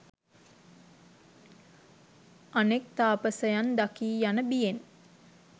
අනෙක් තාපසයන් දකී යන බියෙන්